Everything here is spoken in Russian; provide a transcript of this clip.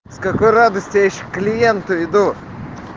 с какой радости я сейчас к клиенту иду